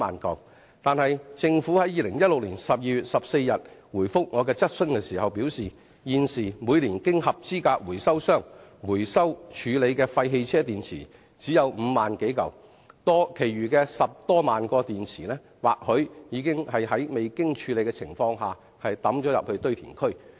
但政府在2016年12月14日回覆我的質詢時表示，現時每年經合資格回收商回收處理的廢汽車電池只有5萬多枚，其餘的10多萬枚電池或許在未經處理的情況下掉進堆填區。